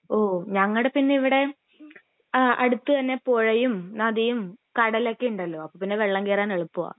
ഓഹ് ഞങ്ങടെ പിന്നെ ഇവിടെ ആഹ് അടുത്ത് തന്നെ പുഴയും നദിയും കടലൊക്കെ ഉണ്ടല്ലോ അപ്പൊ പിന്നെ വെള്ളം കേറാൻ എളുപ്പവാ